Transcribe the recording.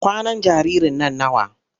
Kwanan jaririn nan nawa?